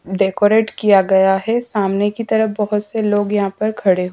decorate किया गया है सामने की तरफ बहुत से लोग यहां पर खड़े--